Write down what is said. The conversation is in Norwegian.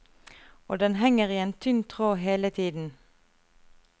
Og den henger i en tynn tråd hele tiden.